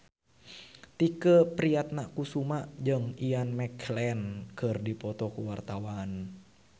Tike Priatnakusuma jeung Ian McKellen keur dipoto ku wartawan